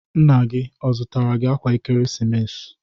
Nna gi zụtara gi akwa ekeresimesi?